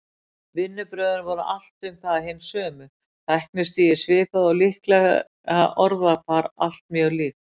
Vinnubrögðin voru allt um það hin sömu, tæknistigið svipað og líklega orðafar allt mjög líkt.